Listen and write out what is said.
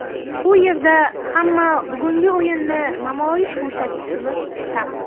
U yerda ham bugungi o‘yinni namoyish ko‘rsatishimiz shart.